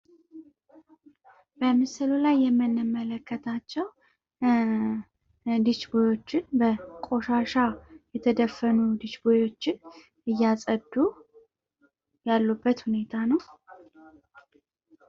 በምስል ላይ የምንመለከታቸው ዲሽቦዮችን በቆሻሻ የተደፈኑ ዲሽቦዮችን እያጸዱ ያሉበት ሁኔታ ነው።